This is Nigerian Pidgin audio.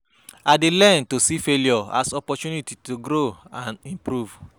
I dey learn to see failure as opportunity to grow and improve.